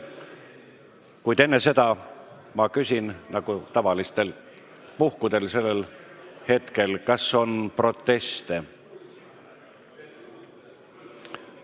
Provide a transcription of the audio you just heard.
Kuid nagu tavaliselt sellistel puhkudel küsin ma enne, kas teil on proteste.